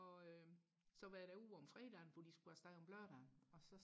og øh så var jeg derude om fredagen hvor de skulle afsted om lørdagen og så